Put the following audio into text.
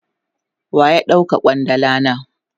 Waya dauka kwandala na?